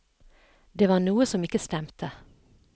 Det var noe som ikke stemte.